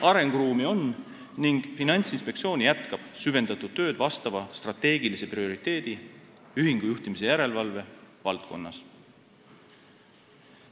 Arenguruumi on ja Finantsinspektsioon jätkab süvendatud tööd vastava strateegilise prioriteedi, ühingujuhtimise järelevalve valdkonnas.